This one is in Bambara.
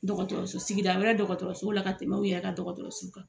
Dɔgɔtɔrɔso sigidala dɔgɔtɔrɔsola ka tɛmɛ aw yɛrɛ ka dɔgɔtɔrɔso kan.